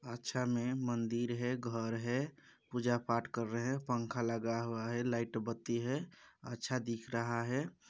अच्छा मन्दिर है घर है पूजा पाठ कर रहे है पंखा लगा हुआ है लाईट बत्ती है अच्छा दिख रहा है।